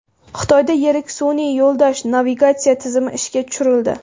Xitoyda yirik sun’iy yo‘ldosh navigatsiya tizimi ishga tushirildi.